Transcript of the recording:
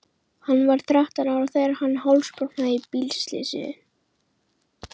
Hann var þrettán ára þegar hann hálsbrotnaði í bílslysi.